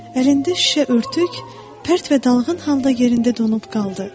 Əlində şüşə örtük pərt və dalğın halda yerində donub qaldı.